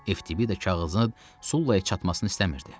FTBida kağızın Sullaya çatmasını istəmirdi.